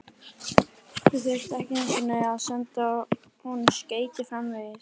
Þið þyrftuð ekki einu sinni að senda honum skeyti framvegis.